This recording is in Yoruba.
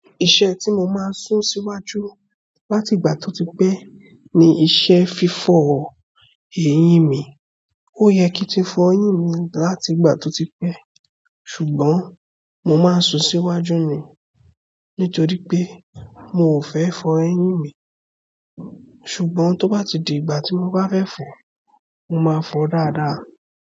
Iṣẹ́ tí mo máa ń sún síwájú láti ìgbà tí ó ti pẹ́ ni iṣẹ́ fífọ èyín mi. Oye ki n ti fo eyín mi láti ìgbà to ti pe ṣùgbọ́n mo maa n su síwájú ni nitoripe mi o fe fo eyin mi ṣùgbọ́n tó bá tidi ìgbà tí mo bá fẹ́ fọ, mo máa fọ dáadáa.